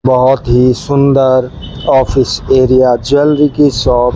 बहुत ही सुंदर ऑफिस एरिया ज्वेलरी की शॉप --